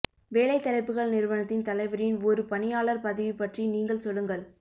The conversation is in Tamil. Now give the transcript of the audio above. வேலை தலைப்புகள் நிறுவனத்தின் தலைவரின் ஒரு பணியாளர் பதவி பற்றி நீங்கள் சொல்லுங்கள்